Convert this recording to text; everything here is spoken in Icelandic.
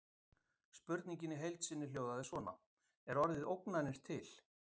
Spurningin í heild sinni hljóðaði svona: Er orðið ógnanir til?